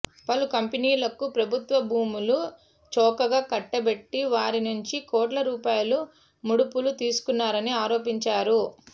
పలు కంపెనీలకు ప్రభుత్వ భూములు చౌకగా కట్టబెట్టి వారి నుంచి కోట్ల రూపాయలు ముడుపులు తీసుకున్నారని ఆరోపించారు